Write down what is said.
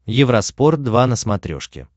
евроспорт два на смотрешке